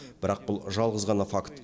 бірақ бұл жалғыз ғана факт